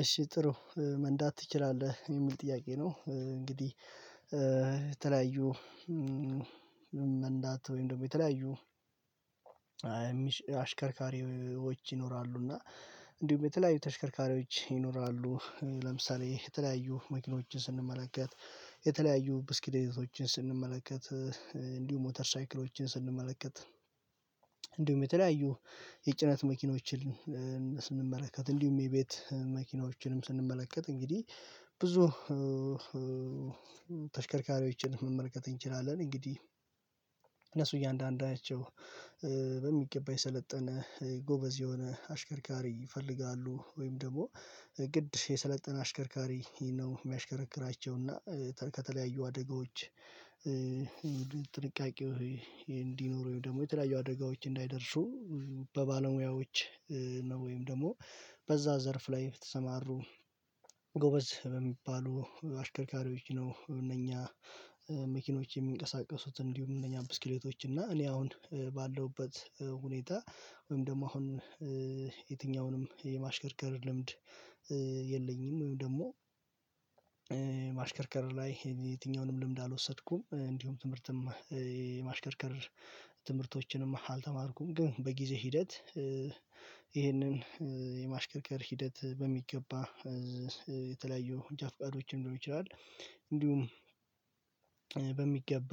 እሺ ጥሩ መንዳት ትችላለህ የሚል ጥያቄ ነው? እንግዲህ የተለያዩ መንዳት ወይም ደግሞ የተለያዩ አሽከርካሪዎች ይኖራሉ እና እንዲሁም የተለያዩ ተሽከርካሪዎች ይኖራሉ። ለምሳሌ የተለያዩ መኪኖችን ስንመለከት የተለያዩ ብስክሎቶችን ስንመለከት እንዲሁም ሞተር ሳይክሎችን ስንመለከት እንዲሁም የተለያዩ የጭነት መኪኖችን ስንመለከት እንዲሁም የቤት መኪኖችንም ስንመለከት እንግዲህ ብዙ ተሽከርካሪዎችን መመልከት እንችላለን። እንግዲህ እነሱ እያንዳንዳቸው በሚገባ የሰለጠነ ጎበዝ የሆነ አሽከርካሪ ይፈልጋሉ ወይም ደግሞ ግድ የሰለጠነ አሽከርካሪ ይሄን ነው የሚያሽከረክራቸው። እና ከተለያዩ አደጋዎች ጥንቃቄው እንዲኖረኝ ደግሞ የተለያዩ አደጋዎች እንዳይደርሱ በባለሙያዎች ነው ወይም ደግሞ በዛ ዘርፍ ላይ ተሰማሩ ጎበዝ በሚባሉ አሽከርካሪዎች ነው። እነኛ መኪኖች የሚንቀሳቀሱት እንዲሁም እነኛ ብስክሌቶች እና እኔ አሁን ባለውበት ሁኔታ ወይም ደግሞ አሁን የትኛውንም የማሽከርከር ልምድ የለኝም። ደግሞ ማሽከርከር ላይ የትኛውንም ልምድ አልወሰድኩም እንዲሁም ትምህርትም ማሽከርከር ትምህርቶችንም አልተማርኩም። ግን በጊዜ ሂደት ይሄንን የማሽከርከር ሂደት በሚገባ የተለያዩ መንጃፍቃዶችን ሊሆን ይችላል። እንዲሁም በሚገባ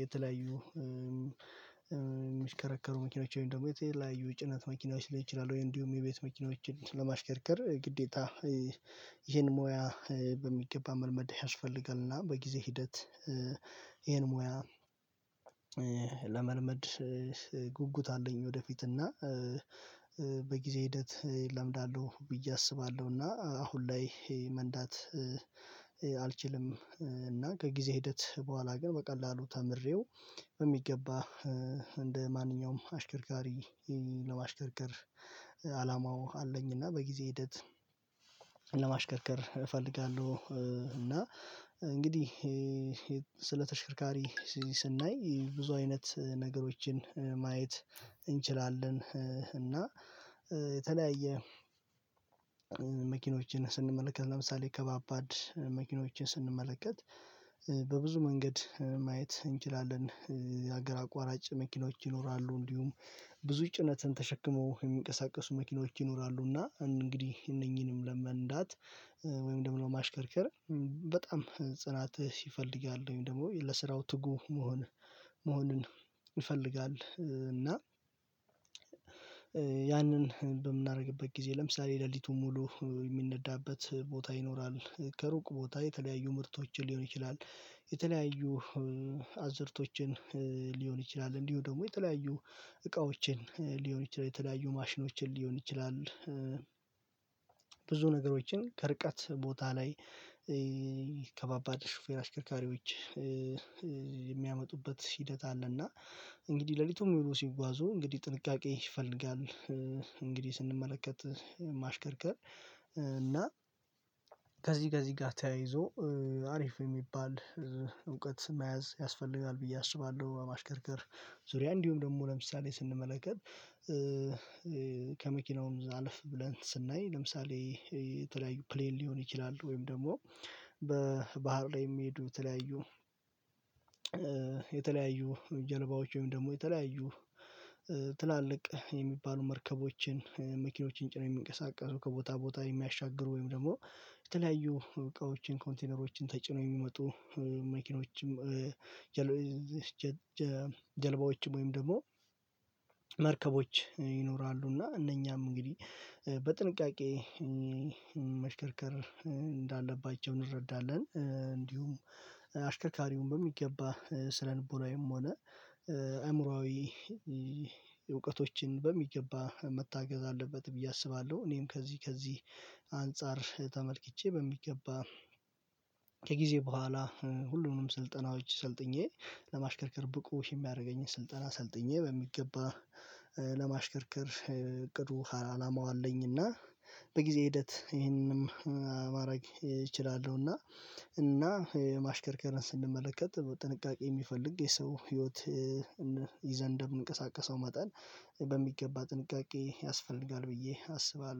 የተለያዩ ሚሽከረከሩ መኪኖች ወይም ደግሞ የተለያዩ የጭነት መኪናዎች ላይ ይችላሉ ወይ እንዲሁም የቤት መኪናዎችን ለማሽከርከር ግዴታ ይሄን ሙያ በሚገባ መልመድ ያስፈልጋልና። በጊዜ ሂደት ይሄን ሙያ ለመልመድ ጉጉት አለኝ ወደፊት እና በጊዜ ሂደት እለምዳለሁ ብዬ አስባለሁ። እና አሁን ላይ መንዳት አልችልም። እና ከጊዜ ሂደት በኋላ ግን በቀላሉ ተምሬው በሚገባ እንደማንኛውም አሽከርካሪ ለማሽከርከር አላማው አለኝ እና በጊዜ ሂደት ለማሽከርከር እፈልጋለሁ። እና እንግዲህ ስለ ተሽከርካሪ ስናይ ብዙ አይነት ነገሮችን ማየት እንችላለን እና የተለያየ መኪኖችን ስንመለከት ለምሳሌ ከባባድ መኪኖችን ስንመለከት በብዙ መንገድ ማየት እንችላለን የሀገር አቋራጭ መኪኖች ይኖራሉ። እንዲሁም ብዙ ጭነትን ተሸክሞ የሚንቀሳቀሱ መኪኖች ይኖራሉና እንግዲህ እነኚህንም ለመንዳት ወይም ደግሞ ማሽከርከር በጣም ጽናትህ ይፈልጋል ወይም ደግሞ ለስራው ትጉ መሆን መሆንን ይፈልጋል። እና ያንን በምናደርግበት ጊዜ ለምሳሌ ሌሊቱን ሙሉ የሚነዳበት ቦታ ይኖራል ከሩቅ ቦታ የተለያዩ ምርቶችን ሊሆን ይችላል። የተለያዩ አዝርቶችን ሊሆን ይችላል እንዲሁ ደግሞ የተለያዩ እቃዎችን ሊሆን ይችላል የተለያዩ ማሽኖችን ሊሆን ይችላል። ብዙ ነገሮችን ከርቀት ቦታ ላይ ከባባድ ሹፌር አሽከርካሪዎች የሚያመጡበት ሂደት አለና እንግዲህ ሌሊቱን ስጓዙ እንግዲህ ጥንቃቄ ይፈልጋል። እንግዲህ ስንመለከት ማሽከርከር እና ከዚህ ከዚህ ጋር ተያይዞ አሪፍ የሚባል እውቀት መያዝ ያስፈልጋል ብዬ አስባለሁ። ማሽከርከር ዙሪያ እንዲሁም ደግሞ ለምሳሌ ስንመለከት ከመኪናውም ዛለፍ ብለን ስናይ ለምሳሌ የተለያዩ ፕሌል ሊሆን ይችላል ወይም ደግሞ በባህር ላይ የሚሄዱ የተለያዩ የተለያዩ ጀልባዎች ወይም ደግሞ የተለያዩ ትላልቅ የሚባሉ መርከቦችን መኪኖችን ጭነው የሚንቀሳቀሱ ከቦታ ቦታ የሚያሻግሩ ወይም ደግሞ የተለያዩ እቃዎችን ኮንቴነሮችን ተጭኖ የሚመጡ መኪኖችም ጀልባዎችም ወይም ደግሞ መርከቦች ይኖራሉ። እና እነኛም እንግዲህ በጥንቃቄ መሽከርከር እንዳለባቸው እንረዳለን እንዲሁም አሽከርካሪውን በሚገባ ስነልቦናዊ ሆነ አእምሮአዊ እውቀቶችን በሚገባ መታገዝ አለበት ብዬ አስባለሁ። እኔም ከዚህ ከዚህ አንፃር ተመልክቼ በሚገባ ከጊዜ በኋላ ሁሉንም ስልጠናዎች ሰልጥኜ ለማሽከርከር ብቁ የሚያደርገኝን ስልጠና ሰልጥኜ በሚገባ ለማሽከርከር እቅዱ አላማው አለኝ እና በጊዜ ሂደት ይሄንንም ማድረግ እችላለሁ። እና እና ማሽከርከርን ስንመለከት በጥንቃቄ የሚፈልግ የሰው ህይወት ይዘን እንደምንቀሳቀሰው መጠን በሚገባ ጥንቃቄ ያስፈልጋል ብዬ አስባለሁ